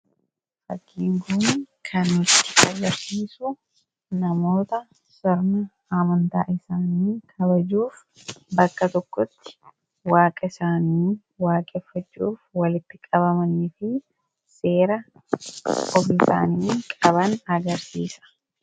Fakkiin kun kan nutti agarsiisu namoota sirna amantaa isaanii kabajuuf waaqa isaanii waaqessuuf bakka tokkotti walitti qabamanii fi seera ofii isaanii qaban agarsiisa.